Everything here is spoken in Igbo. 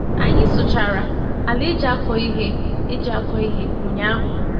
Anyị sụchara ala eji akọ ihe eji akọ ihe ụnyaahụ.